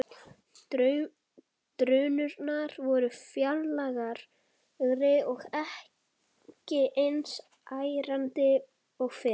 Drunurnar voru fjarlægari og ekki eins ærandi og fyrr.